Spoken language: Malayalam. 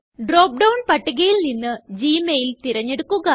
ഡ്രോപ്പ് ഡൌൺ പട്ടികയില് നിന്ന് ഗ്മെയിൽ തിരഞ്ഞെടുക്കുക